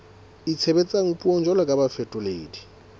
itshebetsang puong jwalo ka bafetoledi